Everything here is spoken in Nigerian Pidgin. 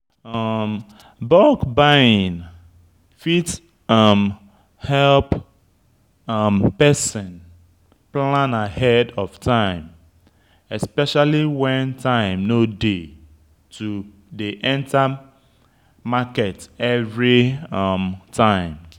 Bulk buying fit um help um person plan ahead of time especially when time no dey to dey enter market every um time